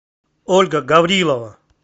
ольга гаврилова